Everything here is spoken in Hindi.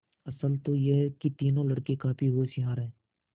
असल तो यह कि तीनों लड़के काफी होशियार हैं